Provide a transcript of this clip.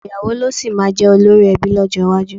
Ọ̀pọ̀ ìyàwó ló sì máa jẹ́ olórí ẹbí lọ́jọ́ iwájú.